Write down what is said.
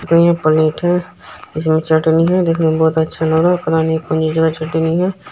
ये प्लेट है उसमे चटनी है देखने मे बहुत अच्छा लग रहा चटनी है।